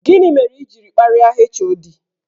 Gini mere i jiri karịa HOD?